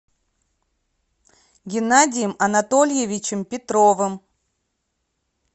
геннадием анатольевичем петровым